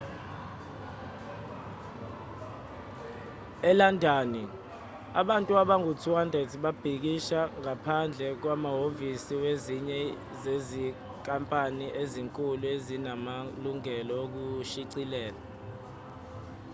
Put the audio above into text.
elandani abantu abangaba u-200 babhikisha ngaphandle kwamahhovisi wezinye zezinkampani ezinkulu ezinamalungelo okushicilela